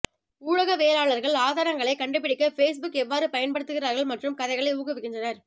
ஊடகவியலாளர்கள் ஆதாரங்களைக் கண்டுபிடிக்க பேஸ்புக் எவ்வாறு பயன்படுத்துகிறார்கள் மற்றும் கதைகளை ஊக்குவிக்கின்றனர்